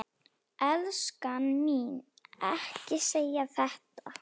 Elskan mín, ekki segja þetta!